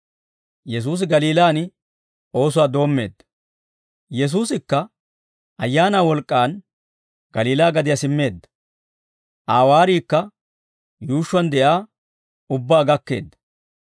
Yesuusikka Ayaanaa wolk'k'aan Galiilaa gadiyaa simmeedda. Aa waariikka yuushshuwaan de'iyaa ubbaa gakkeedda.